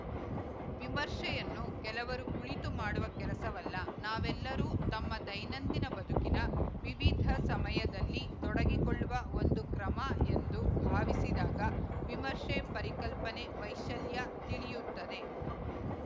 ವಿಮರ್ಶೆಯನ್ನು ಕೆಲವರು ಕುಳಿತು ಮಾಡುವ ಕೆಲಸವಲ್ಲ ನಾವೆಲ್ಲರೂ ತಮ್ಮ ದೈನಂದಿನ ಬದುಕಿನ ವಿವಿಧ ಸಮಯದಲ್ಲಿ ತೊಡಗಿಕೊಳ್ಳುವ ಒಂದು ಕ್ರಮ ಎಂದು ಭಾವಿಸಿದಾಗ ವಿಮರ್ಶೆ ಪರಿಕಲ್ಪನೆ ವೈಶ್ಯಲ್ಯ ತಿಳಿಯುತ್ತದೆ